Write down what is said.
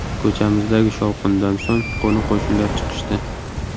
Ko‘chamizdagi shovqindan so‘ng qo‘ni-qo‘shnilar chiqishdi.